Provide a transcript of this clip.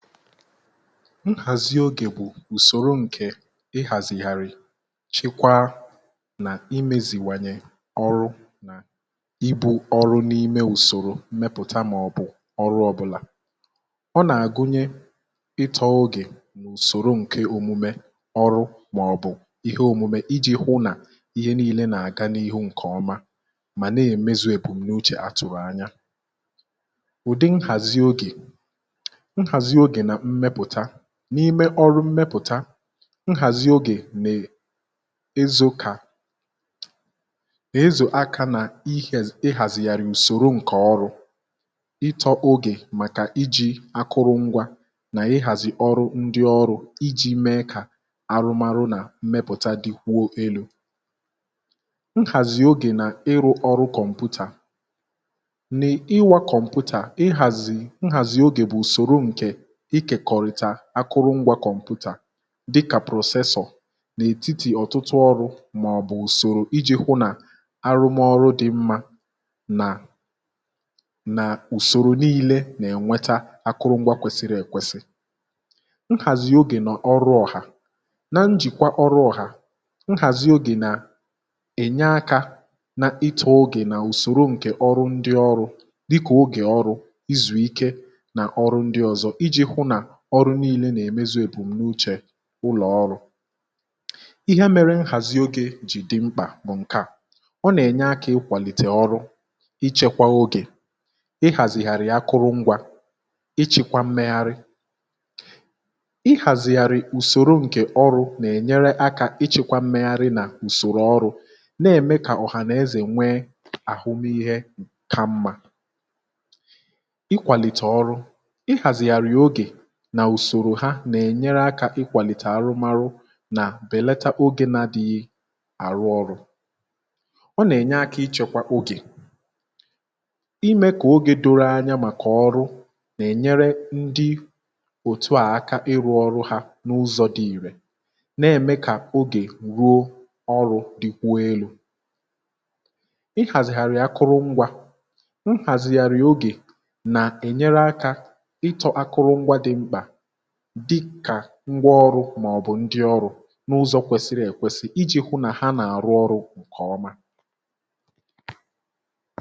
nhàzi ogè bụ̀ ùsòro ǹkè ihàzìghàrị̀ chikwaa nà imėzìwànyè ọrụ̇ nà ibu̇ ọrụ n’ime ùsòrò mmepụ̀ta màọ̀bụ̀ ọrụ ọ̇bụ̇là um ọ nà-àgụnye ịtọ̇ ogè ùsòro ǹke òmume ọrụ màọ̀bụ̀ ihe òmume iji̇ hụ nà ihe nii̇lė nà-àga n’ihu ǹkè ọma mà na-èmezi èbùniu chè atụ̀ghị̀ anya n’ime ọrụ mmepụ̀ta. nhàzi ogè nà-ezo kà ezò aka nà ihàzìghàrì ùsòro ǹkè ọrụ̇ ntụ̀zi ogè màkà iji̇ akụrụ ngwȧ nà ịhàzì ọrụ ndị ọrụ̇ iji̇ mee kà arụmarụ nà mmepụ̀ta dịkwuo elu̇ um. nhàzi ogè nà-ịrụ̇ ọrụ̇ kọmputà nà-iwa kọmputà ihàzì nhàzi ogè bụ̀ ùsòrò ǹkè dị kà processing n’ètitì ọ̀tụtụ ọrụ̇ màọ̀bụ̀ ùsòrò iji̇ hụ nà arụmọrụ dị̇ mmȧ nà nà ùsòrò nii̇lė nà-ènweta akụrụngwa kwesiri èkwesị um. nhàzị̀ ogè nà ọrụ ọhà na njìkwa ọrụ ọhà um nhàzị ogè nà ènye akȧ n’itè ogè nà ùsòrò ǹkè ọrụ ndị ọrụ̇ dịkà ogè ọrụ̇ izù ike nà ọrụ ndị ọ̀zọ ọrụ nii̇lė nà-èmezi èbùmme uchè ụlọ̀ ọrụ̇. ihe mere nhazi ogė jì di mkpà bụ̀ ǹke à ọ nà-ènye akȧ ikwàlìtè ọrụ̇, ichekwà ogè, ihàzìgàrì akụrụ ngwȧ um, ichekwa mmeghari ihàzìgàrì ùsòro ǹkè ọrụ̇ nà-ènyere akȧ ichekwa mmegharị nà ùsòrò ọrụ̇ na-ème kà ọ̀hà nà-ezè nwee àhụmịhe ka mmȧ. ikwàlìtè ọrụ ihàzìgàrì ogè nà ùsòrò ha nà-ènyere akȧ ikwàlìtè arụmarụ nà bèlata ogė na dịghị àrụ ọrụ̇ ọ nà-ènye akȧ ịchọ̇kwa ogè imė kà ogė doro anya màkà ọrụ nà-ènyere ndị òtù àakȧ ịrụ̇ ọrụ hȧ n’ụzọ̇ dị irė nà-ème kà ogè ruo ọrụ̇ dị kwa elu̇. ihàzìgàrị̀ akụrụ ngwȧ ihàzìgàrị̀ ogè nà-ènyere akȧ ịtọ̇ akụrụ ngwȧ dị mkpà ngwa ọrụ̇ màọ̀bụ̀ ndị ọrụ n’ụzọ kwesiri èkwesi iji hụ nà ha nà-àrụ ọrụ̇ ǹkè ọma.